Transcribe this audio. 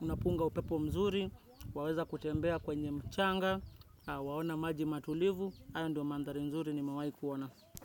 unapunga upepo mzuri, waweza kutembea kwenye mchanga, waona maji matulivu, hayo ndio mandhari nzuri nimewahi kuona.